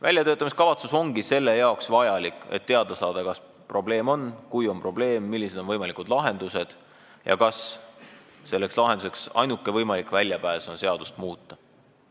Väljatöötamiskavatsus ongi selleks vajalik, et teada saada, kas meil on probleem, kui on probleem, siis millised on võimalikud lahendused ja kas ainuke võimalik väljapääs on seadust muuta.